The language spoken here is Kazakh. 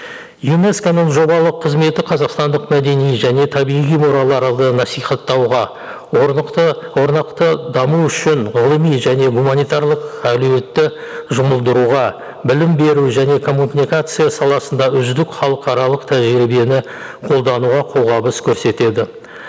юнеско ның жобалық қызметі қазақстандық мәдени және табиғи мұраларды насихаттауға орнақты даму үшін ғылыми және гуманитарлық әлеуметті жұмылдыруға білім беру және коммуникация саласында үздік халықаралық тәжірибені қолдануға қолғабыс көрсетеді